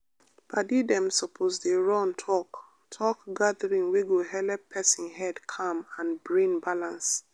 padi dem suppose dey run talk-talk gathering wey go helep person head calm and brain balance.